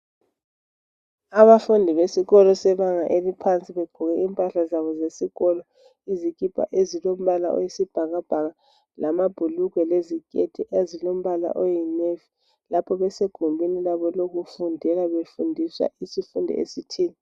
Abafundi besiko sebanga eliphansi sebegqoke impahla zabo zesikolo izikipa ezilombala oyisibhakabhaka lamabhulugwe leziketi ezilombala oyinavy lapho besegumeni labo lokufundela befundiswa isifundo esithile